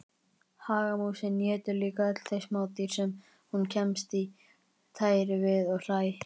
Hagamúsin étur líka öll þau smádýr sem hún kemst í tæri við og hræ.